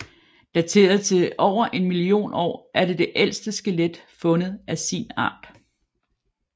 Dateret til over 1 million år er det det ældste skelet fund af sin art